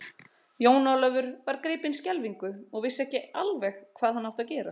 Jón Ólafur var gripinn skelfingu og vissi ekki alveg hvað hann átti að gera.